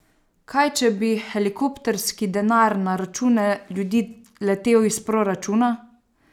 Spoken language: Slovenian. Kaj če bi helikopterski denar na račune ljudi letel iz proračuna?